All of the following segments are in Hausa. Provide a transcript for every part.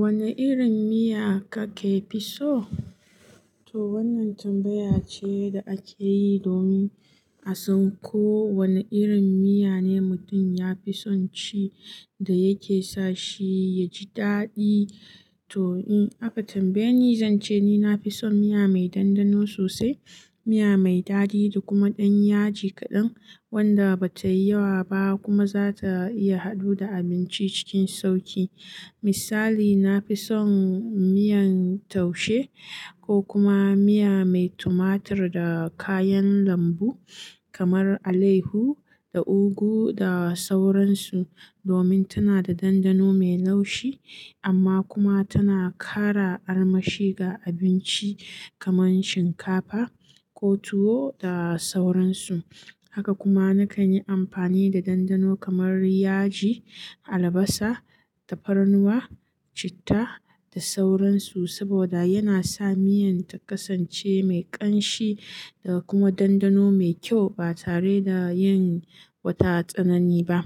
Wanne irin miya kake fi so? To wannan tambaya ce da ake yi domin a san ko wanne irin miya ne mutum ya fi son ci da yake sa shi ya ji daɗi. To in aka tambaye ni, zan ce ni na fi son miya mai dandano sosai, miya mai daɗi da kuma ɗan yaji kaɗan wanda ba ta yi yawa ba kuma za ta iya haɗu da abinci cikin sauƙi. Misali, na fi son miyan taushe ko kuma miya mai tumatur da kayan lambu. Kamar alayyahu da ugu da sauran su, domin tana da dandano mai laushi amma kuma tana ƙara armashi ga abinci kamar shinkafa ko tuwo da sauran su. Haka kuma na kan yi amfani da dandano kamar yaji, albasa, tafarnuwa, citta da sauran su saboda yana sa miyan ta kasance mai ƙanshi da kuma dandano mai kyau ba tare da yin wata tsanani ba.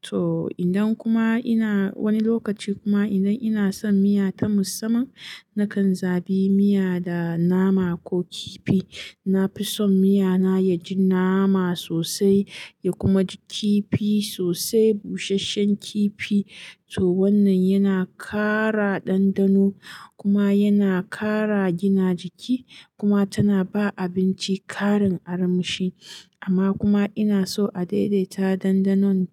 To idan kuma ina wani lokaci kuma idan ina son miya ta musamman, na kan zaɓi miya da nama ko kifi. Na fi son miya na ya ji nama sosai ya kuma ji kifi sosai, busasshen kifi. To wannan yana ƙara dandano kuma yana ƙara gina jiki kuma tana ba abinci ƙarin armashi. Amma kuma ina so a daidaita dandanon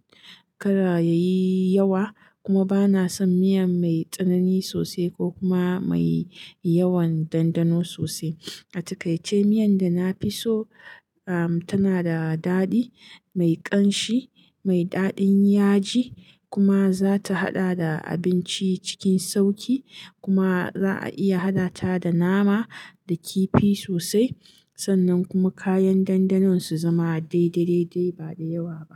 kada ya yi yawa. Kuma ba na son miya mai tsanani sosai ko kuma mai yawan dandano sosai. A takaice miyan da na fi so, am, tana da daɗi, mai ƙanshi, mai daɗin yaji kuma za ta haɗa da abinci cikin sauƙi kuma za a iya haɗa ta da nama da kifi sosai. Sannan kuma kayan dandanon su zama daidai-daidai ba da yawa ba.